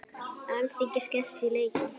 Alþingi skerst í leikinn